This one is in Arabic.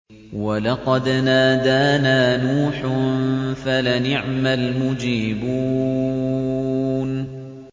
وَلَقَدْ نَادَانَا نُوحٌ فَلَنِعْمَ الْمُجِيبُونَ